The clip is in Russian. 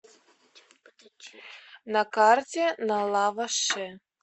на карте на лава ше